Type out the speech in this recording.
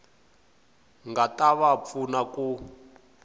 nga ta va pfuna ku